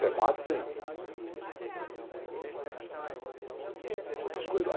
Matemática e... Outras coisas lá.